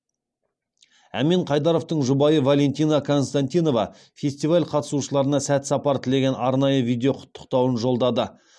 әмен қайдаровтың жұбайы валентина константинова фестиваль қатысушыларына сәт сапар тілеген арнайы видеоқұттықтауын жолдады